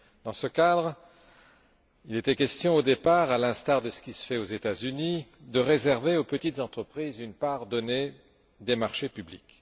Dans ce cadre, il était question au départ, à l'instar de ce qui se fait aux États Unis, de réserver aux petites entreprises une part donnée des marchés publics.